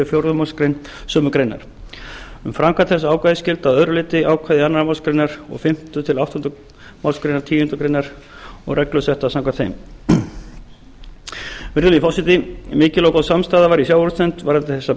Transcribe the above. fjórðu málsgrein sömu greinar um framkvæmd þessa ákvæðis gilda að öðru leyti ákvæði annarrar málsgreinar og fimmta til áttundu málsgrein tíundu greinar og reglur settar samkvæmt þeim virðulegi forseti mikil og góð samstaða var í sjávarútvegsnefnd varða þessar